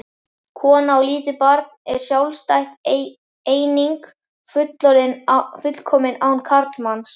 Kona og lítið barn er sjálfstæð eining, fullkomin án karlmanns.